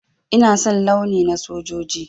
Ina son launi na sojoji.